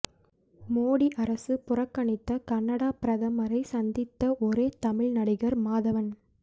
மோடி அரசு புறக்கணித்த கனடா பிரதமரை சந்தித்த ஒரே தமிழ் நடிகர் மாதவன்